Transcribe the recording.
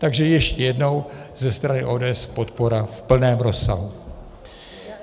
Takže ještě jednou, ze strany ODS podpora v plném rozsahu.